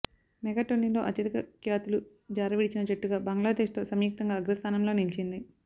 మెగాటోర్నీలో అత్యధిక క్యాచులు జారవిడిచిన జట్టుగా బంగ్లాదేశ్తో సంయుక్తంగా అగ్రస్థానంలో నిలిచింది